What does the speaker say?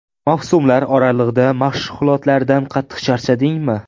Mavsumlar oralig‘ida mashg‘ulotlarda qattiq charchadingmi?